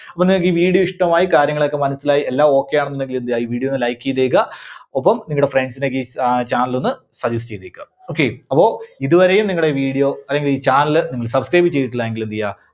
അപ്പോ നിങ്ങൾക്ക് ഈ video ഇഷ്ടമായി, കാര്യങ്ങളൊക്കെ മനസ്സിലായി എല്ലാം Okay ആണെന്നുണ്ടെങ്കില് എന്ത് ചെയ്യാ? ഈ video ഒന്ന് like ചെയ്തേക്ക. ഒപ്പം നിങ്ങടെ friends നൊക്കെ ഈ cha~channel ഒന്ന് suggest ചെയ്തേക്ക. okay അപ്പോ ഇതുവരെയും നിങ്ങടെ video, അല്ലെങ്കിൽ ഈ channel നിങ്ങള് subscribe ചെയ്തിട്ടില്ല എങ്കിൽ എന്ത് ചെയ്യുക?